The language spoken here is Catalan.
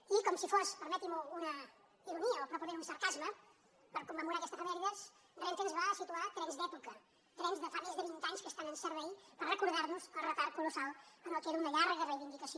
i com si fos permetin m’ho una ironia o probablement un sarcasme per commemorar aquesta efemèride renfe ens va situar trens d’època trens que fa més de vint anys que estan en servei per recordar nos el retard colossal en el que era una llarga reivindicació